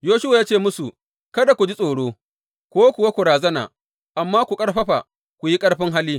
Yoshuwa ya ce musu, Kada ku ji tsoro, ko kuwa ku razana, amma ku ƙarfafa, ku yi ƙarfin hali.